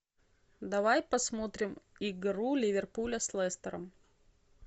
давай посмотрим игру ливерпуля с лестером